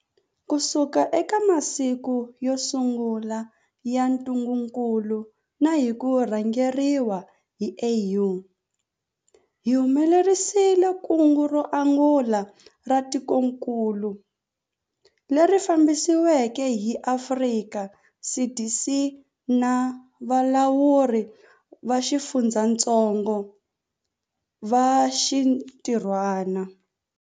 Kusuka eka masiku yo sungula ya ntungukulu na hi ku rhangeriwa hi AU, hi humelerisile kungu ro angula ra tikokulu, leri fambisiweke hi Afrika CDC na valawuri va xifundzatsongo va xinti rhwana.